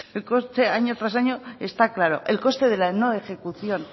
el coste año tras año está claro el coste de la no ejecución